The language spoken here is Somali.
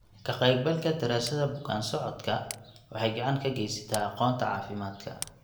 Ka-qaybgalka daraasadda bukaan-socodka waxay gacan ka geysataa aqoonta caafimaadka.